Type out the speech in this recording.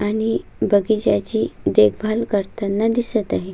आणि बगीच्या ची देखभाल करताना दिसत आहे.